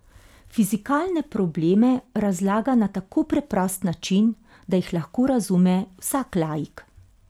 Fizikalne probleme razlaga na tako preprost način, da jih lahko razume vsak laik.